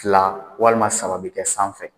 Tila walima saba bɛ kɛ sanfɛ